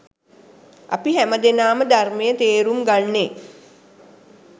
අපි හැම දෙනාම ධර්මය තේරුම් ගන්නේ